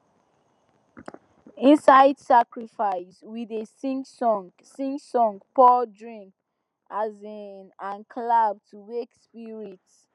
inside sacrifice we dey sing song sing song pour drink um and clap to wake spirits